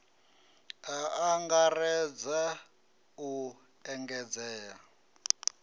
a a angaredza u edzisea